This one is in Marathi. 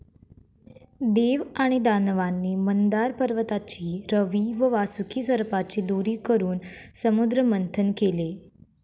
देव आणि दानवांनी मंदार पर्वताची रवी व वासुकी सर्पाची दोरी करून समुद्रमंथन केले.